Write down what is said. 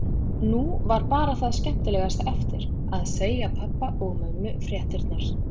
Nú var bara það skemmtilegasta eftir: Að segja pabba og mömmu fréttirnar.